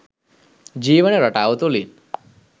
ජීවන රටාව තුලින්.